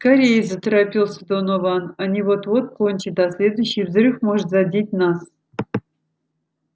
скорее заторопился донован они вот-вот кончат а следующий взрыв может задеть нас